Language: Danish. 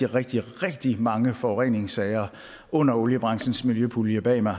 rigtig rigtig mange forureningssager under oliebranchens miljøpulje bag mig